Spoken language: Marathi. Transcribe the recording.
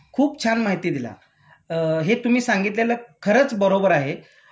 खूप छान माहिती दिला.अ हे तुम्ही सांगितलेलं खरंच बरोबर आहे